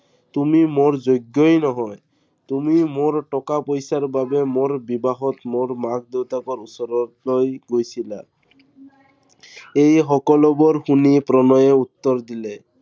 তুমি মোৰ যোগ্যই নহয়। তুমি মোৰ টকা-পইচাৰ বাবে মোৰ বিবাহত মোৰ মাক দেউতাকৰ ওচৰলৈ গৈছিলা। সেই সকলোবোৰ শুনি প্ৰণয়ে উত্তৰ দিলে।